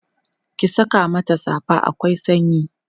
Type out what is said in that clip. ki Saka mata safa akwai sanyi